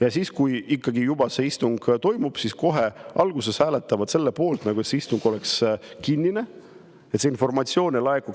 Ja kui ikkagi istung toimub, siis kohe alguses nad hääletavad selle poolt, et istung oleks kinnine, et informatsioon, millest